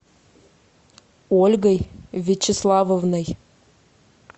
ольгой вячеславовной